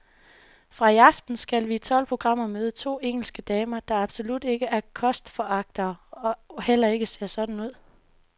Fra i aften skal vi i tolv programmer møde to engelske damer, der absolut ikke er kostforagtere og heller ikke ser sådan ud.